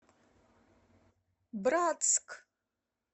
братск